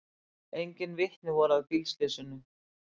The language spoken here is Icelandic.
Engin vitni voru að bílslysinu